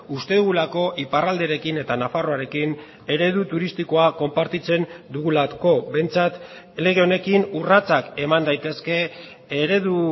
uste dugulako iparralderekin eta nafarroarekin eredu turistikoa konpartitzen dugulako behintzat lege honekin urratsak eman daitezke eredu